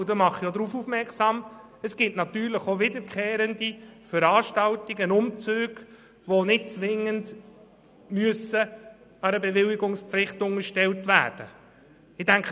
Ich mache jedoch darauf aufmerksam, dass es wiederkehrende Veranstaltungen gibt, welche nicht zwingend einer Bewilligungspflicht unterstellt werden müssen.